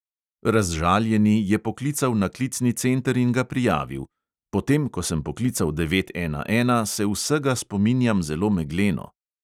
Razžaljeni je poklical na klicni center in ga prijavil: "potem ko sem poklical devet ena ena, se vsega spominjam zelo megleno."